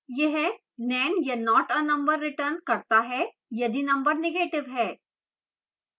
यह nan या not a number returns करता है यदि number negative है